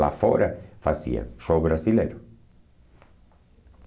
Lá fora fazia show brasileiro.